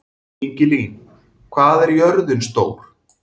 Ingilín, hvað er jörðin stór?